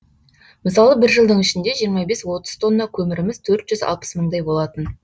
мысалы бір жылдың ішінде жиырма бес отыз тонна көміріміз төрт жүз алпыс мыңдай болатын